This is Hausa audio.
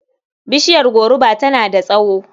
Bishiyar goruba tana da tsawo.